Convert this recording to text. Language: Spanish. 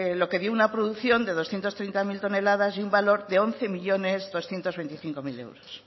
lo que dio una producción de doscientos treinta mil toneladas y un valor de once millónes doscientos veinticinco mil euros